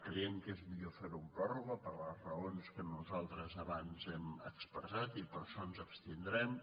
creiem que és millor fer·ho amb pròrroga per les raons que nos·altres abans hem expressat i per això ens abstindrem